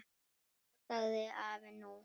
Þá sagði afi: Nú?